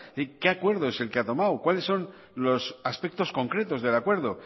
qué acuerdo es el que ha tomado cuáles son los aspectos concretos del acuerdo